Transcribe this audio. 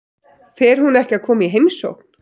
Fer hún ekki að koma í heimsókn?